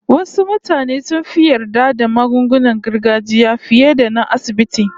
Wasu mutane sun fi yarda da magungunan gargajiya fiye da na asibiti